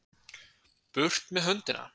Burt með höndina!